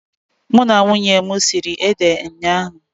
Mụ na nwunye m siri ede ụnyaahụ.